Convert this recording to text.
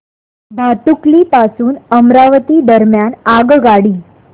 भातुकली पासून अमरावती दरम्यान आगगाडी